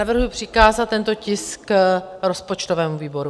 Navrhuji přikázat tento tisk rozpočtovému výboru.